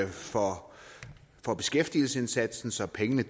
for for beskæftigelsesindsatsen så pengene